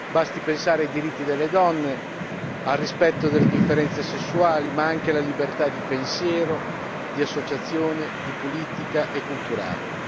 Basti pensare ai diritti delle donne, al rispetto delle differenze sessuali ma anche alla libertà di pensiero, di associazione, di politica e culturale.